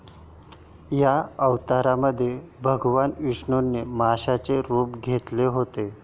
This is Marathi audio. या अवतारामध्ये भगवान विष्णूंनी माशाचे रूप घेतले होते.